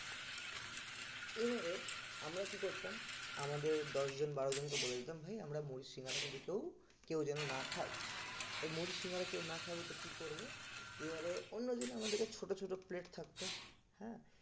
এবারে আমরা কি করতাম? আমাদের দশ জন বারো জনকে বলে দিতাম ভাই আমরা মুড়ি সিঙ্গারা কিন্তু কেও কেউ যেন না খাই তো মুড়ি সিঙ্গারা কেও না খাই তো কি করবে? এবারে অন্যদিন আমাদের কাছে ছোট ছোট plate থাকতো হ্যাঁ